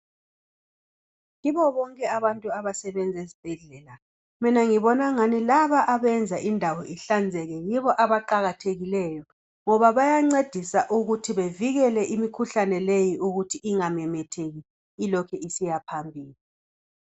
Kibo bonke abantu abasebenza ezibhedlela mina ngibona engani laba abenza indawo ihlale ihlanzekile yibo abaqakathekileyo ngoba bayancedisa ukuthi bevikele imikhuhlane leyi ukuthi ingamemetheki ilokhe isiyaphambili.